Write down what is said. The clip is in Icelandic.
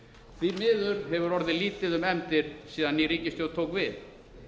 því miður hefur orðið lítið um efndir síðan ný ríkisstjórn tók við